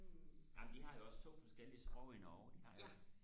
amen de har jo også to forskellige sprog i Norge de har jo